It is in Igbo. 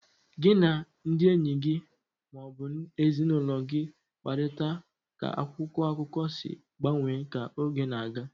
Gị na ndị enyi gị ma ọ bụ ezinụlọ gị kparịta ka akwụkwọ akụkọ si gbanwee ka oge na-aga.